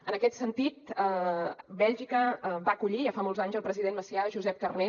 en aquest sentit bèlgica va acollir ja fa molts anys el president macià josep carner